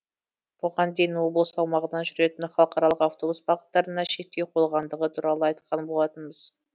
бұған дейін облыс аумағынан жүретін халықаралық автобус бағыттарына шектеу қойылғандығы туралы айтқан болатынбыз